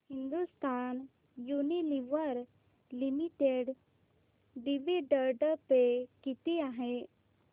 Hindustan Unilever limited dividend pay किती आहे